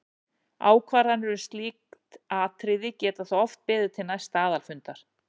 Ákvarðanir um slík atriði geta þó oft beðið til næsta aðalfundar.